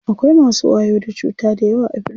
Akwai masu wayo da cuta dayawa a birni.